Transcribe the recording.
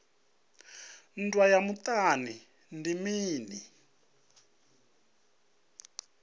nndwa ya muṱani ndi mini